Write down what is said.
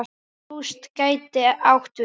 Rúst gæti átt við